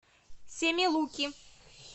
семилуки